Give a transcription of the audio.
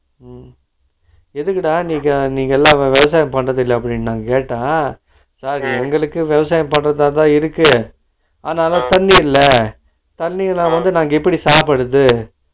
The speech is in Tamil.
உம் எதுக்குடா நீங்க நீங்க எல்லா உங்க விவசாயத்த விட்டிட்டு வந்ததில்லா அப்பிடின்னு நா கேட்டே sir எங்களுக்கும் விவசாயம் பன்றதாதா இருக்கு ஆனாலும் தண்ணி இல்ல, தண்ணி இல்லாம நாங்க எப்பிடி சாப்பிடுறது ?